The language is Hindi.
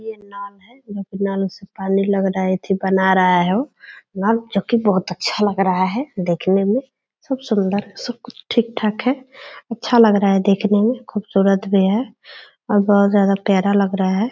ये नल है जो की नल से लग रहा है पानी अथी बना रहा है उ अच्छा लग रहा है देखने में सब सुंदर है सब कुछ ठीक-ठाक है अच्छा लग रहा है देखने में खूबसूरत भी है बहुत ज्यादा प्यारा लग रहा है।